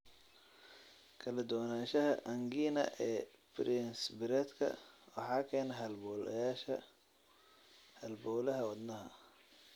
Kala duwanaanshaha angina ee Prinzbiredka waxaa keena halbowleyaasha halbowlaha wadnaha.